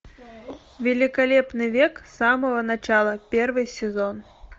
великолепный век с самого начала первый сезон